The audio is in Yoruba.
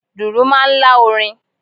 Dùrù máa ń lá orin.